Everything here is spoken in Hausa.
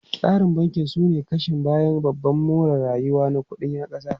Tsarin banki sune kashin bayan ababen more rayuwa na kudi na kasa.